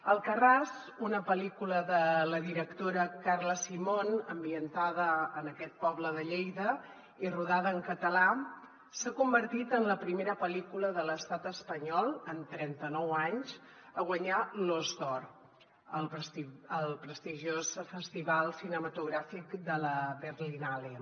alcarràs una pel·lícula de la directora carla simón ambientada en aquest poble de lleida i rodada en català s’ha convertit en la primera pel·lícula de l’estat espanyol en trenta·nou anys a guanyar l’os d’or al prestigiós festival cinematogràfic de la berlinale